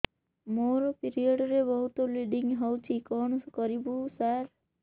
ମୋର ପିରିଅଡ଼ ରେ ବହୁତ ବ୍ଲିଡ଼ିଙ୍ଗ ହଉଚି କଣ କରିବୁ ସାର